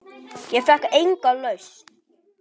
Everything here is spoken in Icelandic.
Ég fékk enga lausn.